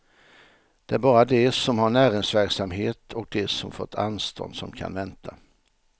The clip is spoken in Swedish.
Det är bara de som har näringsverksamhet och de som fått anstånd som kan vänta.